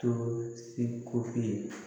To seko ye